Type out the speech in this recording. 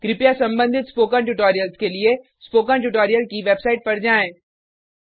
कृपया संबंधित ट्यूटोरियल्स के लिए स्पोकन ट्यूटोरियल की वेबसाइट पर जाएँ